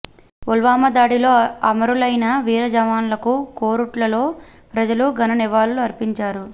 పుల్వామా దాడిలో అమరులైన వీర జవాన్లకు కోరుట్లలో ప్రజలు ఘన నివాళులు అర్పించారు